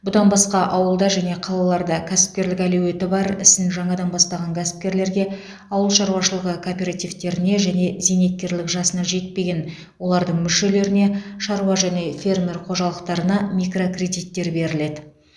бұдан басқа ауылда және қалаларда кәсіпкерлік әлеуеті бар ісін жаңадан бастаған кәсіпкерлерге ауыл шаруашылығы кооперативтеріне және зейнеткерлік жасына жетпеген олардың мүшелеріне шаруа және фермер қожалықтарына микрокредиттер беріледі